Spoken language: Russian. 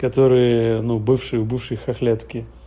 которые ну бывший у бывшей хохлятки